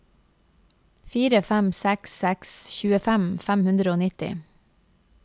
fire fem seks seks tjuefem fem hundre og nitti